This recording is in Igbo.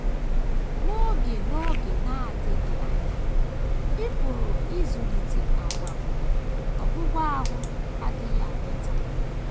N’oge na N’oge na - adịghị anya, ị pụrụ ịzụlite àgwà bụ́: “ Ọgwụgwụ ahụ agaghị abịa taa. ”